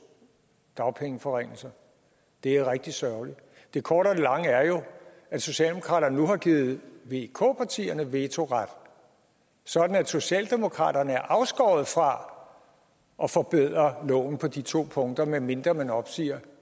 dagpengeforringelser det er rigtig sørgeligt det korte af det lange er jo at socialdemokraterne nu har givet vk partierne vetoret sådan at socialdemokraterne er afskåret fra at forbedre loven på de to punkter medmindre man opsiger